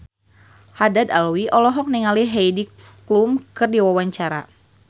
Haddad Alwi olohok ningali Heidi Klum keur diwawancara